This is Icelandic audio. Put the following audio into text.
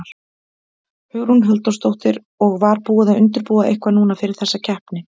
Hugrún Halldórsdóttir: Og var búið að undirbúa eitthvað núna fyrir þessa keppni?